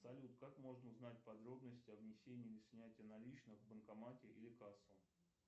салют как можно узнать подробности о внесении или снятии наличных в банкомате или кассу